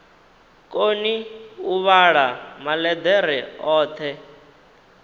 koni u vhala maḽeḓere oṱhe